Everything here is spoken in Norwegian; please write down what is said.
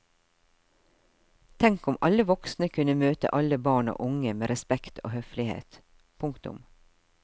Tenk om alle voksne kunne møte alle barn og unge med respekt og høflighet. punktum